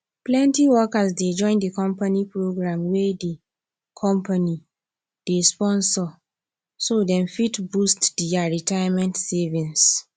plenty workers dey join the company program wey the company dey sponsor so dem fit boost their retirement savings